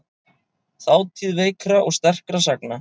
Þátíð veikra og sterkra sagna.